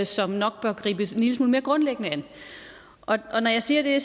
som nok bør gribes en lille smule mere grundlæggende an når jeg siger det